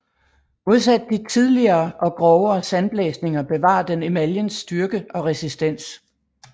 Modsat de tidligere og grovere sandblæsninger bevarer den emaljens styrke og resistens